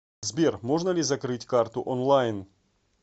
сбер можно ли закрыть карту онлайн